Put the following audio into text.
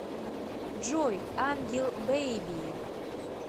джой ангел бэйби